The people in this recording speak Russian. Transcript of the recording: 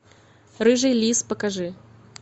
рыжий лис покажи